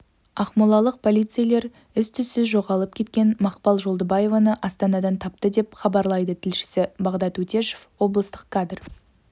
ақмолалық полицейлер із-түссіз жоғалып кеткен мақпал жолдыбаеваны астанадан тапты деп хабарлайды тілшісі бағдат өтешов облыстық кадр